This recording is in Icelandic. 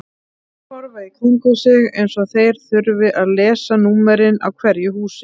Þeir horfa í kringum sig eins og þeir þurfi að lesa númerin á hverju húsi.